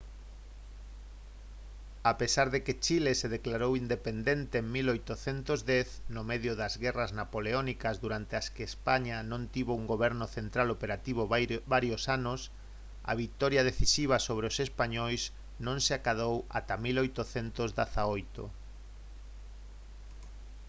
a pesar de que chile se declarou independente en 1810 no medio das guerras napoleónicas durante as que españa non tivo un goberno central operativo varios anos a vitoria decisiva sobre os españois non se acadou ata 1818